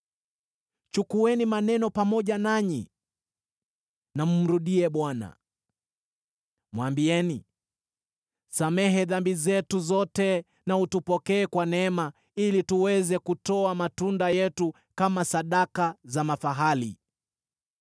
Chukueni maneno pamoja nanyi, mkamrudie Bwana . Mwambieni: “Samehe dhambi zetu zote na utupokee kwa neema, ili tuweze kutoa matunda yetu kama sadaka za mafahali.